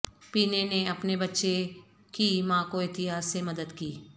پینے نے اپنے بچے کی ماں کو احتیاط سے مدد کی